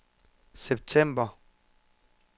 september